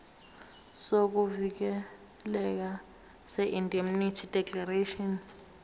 sokuvikeleka seindemnity declaration